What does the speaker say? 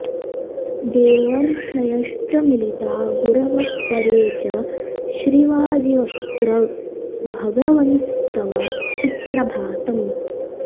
देवर्षयश्च मिलिता गुरवः परे च श्रीवाजिवक्त्र भगवंस्तव सुप्रभातम्